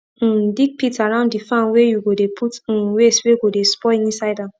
um dig pit around the farm whey you go dey put um waste wey go dey spoil inside am